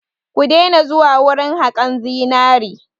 Ku daina zuwa wurin haƙan zinari!